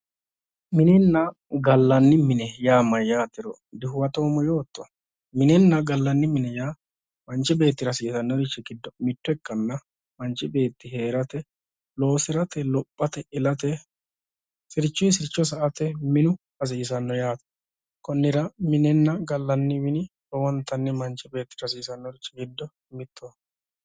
Minenna gallanni mine yaa mayatero dihuwattoommo yootto minenna gallanni mine yaa manchi beettira hasiisanorichi giddo mitto ikkanna manchi beetti heerate loosirate lophate ilate sirchu sircho sa"ate minu hasiisano yaate konnira minenna gallanni mini horontanni manchi beettira hasiisanori giddo mittoho